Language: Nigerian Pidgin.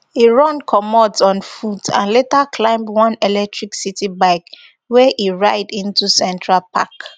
e run comot on foot and later climb one electric city bike wey e ride into central park